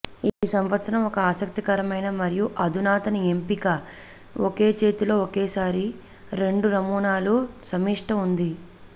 ఈ సంవత్సరం ఒక ఆసక్తికరమైన మరియు అధునాతన ఎంపిక ఒకే చేతిలో ఒకేసారి రెండు నమూనాల సమిష్టి ఉంది